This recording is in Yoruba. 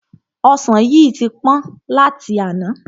Ọsan yìí tí pọ́n láti àná.